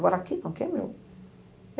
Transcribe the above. Agora, aqui não, aqui é meu.